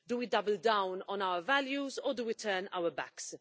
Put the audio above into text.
Do we double down on our values or do we turn our backs?